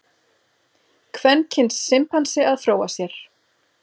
Kvenkyns simpansi að fróa sér.